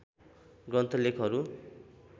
ग्रन्थ लेखहरू